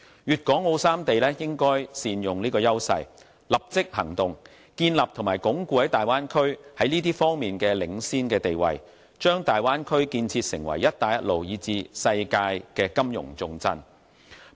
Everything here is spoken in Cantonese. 粵港澳三地應該善用這個優勢，立即行動，建立和鞏固大灣區在這些方面的領先地位，將大灣區建設成為"一帶一路"，以至世界的金融重鎮。